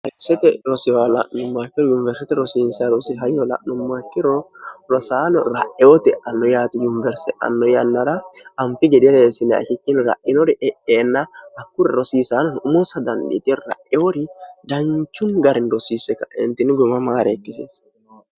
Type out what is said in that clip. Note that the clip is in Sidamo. harersete rosiwla'nu makkiro yuniwersete rosiinserosi hayyola'nummakkiro rosaano ra'ewote anno yaati yuniwerse anno yannara anfi gedireessine ikichini ra'inori eeenna hakkunri rosiisaanoni umoosa dandiite ra'eori danchun garini rosiisse kaentinni goma maare ekkiseesse